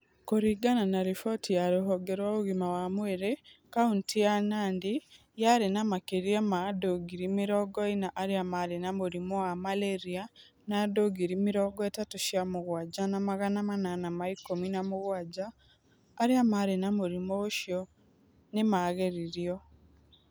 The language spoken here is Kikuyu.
Kuringana na riboti ya ruhonge rwa ũgima wa mwĩrĩ, kaunti ya Nandi yarĩ na makĩria ma andũ ngiri mĩrongo ĩna arĩa maarĩ na mũrimũ wa malaria na andũ ngiri mĩrongo ĩtatũ cĩa mũgwaja na magana manana ma ikũmi na mũgwaja arĩa maarĩ na mũrimũ ũcio nĩ maageririo.